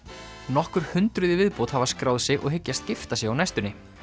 nokkur hundruð í viðbót hafa skráð sig og hyggjast gifta sig á næstunni